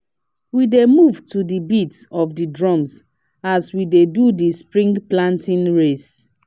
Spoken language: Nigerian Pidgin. we dey move to the beat of the drums as we dey do the spring planting race